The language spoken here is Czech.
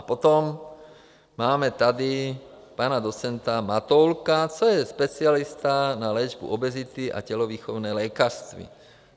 A potom tady máme pana docenta Matoulka, to je specialista na léčbu obezity a tělovýchovné lékařství.